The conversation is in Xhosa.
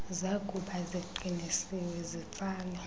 zakuba ziqinisiwe zitsale